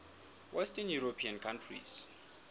western european countries